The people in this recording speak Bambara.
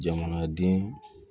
Jamanaden